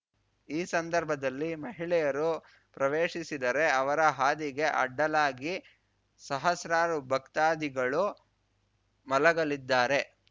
ಈ ಸಂದರ್ಭದಲ್ಲಿ ಮಹಿಳೆಯರು ಪ್ರವೇಶಿಸಿದರೆ ಅವರ ಹಾದಿಗೆ ಅಡ್ಡಲಾಗಿ ಸಹಸ್ರಾರು ಭಕ್ತಾದಿಗಳು ಮಲಗಲಿದ್ದಾರೆ